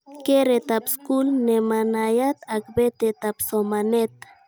Keretab skul nemanayat ak betetab somanet